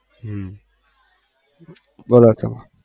હમ બોલો તમારે